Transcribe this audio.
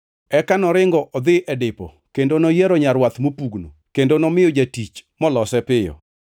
Eka noringo odhi e dipo kendo noyiero nyarwath mopugno kendo nomiyo jatich molose piyo.